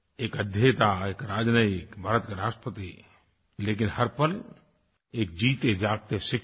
एक अध्येता एक राजनयिक भारत के राष्ट्रपति लेकिन हर पल एक जीतेजागते शिक्षक